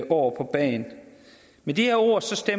år på bagen med de ord skal